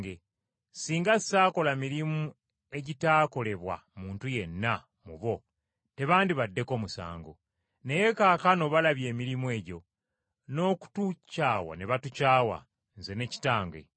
Singa saakola mirimu egitaakolebwa muntu yenna mu bo tebandibaddeko musango. Naye kaakano balabye emirimu egyo, n’okutukyawa ne batukyawa, Nze ne Kitange.